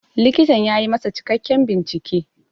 Likitan ya yi masa cikakken bincike.